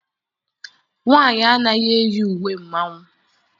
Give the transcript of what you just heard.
Nwaanyị anaghị eyi uwe mmanwụ.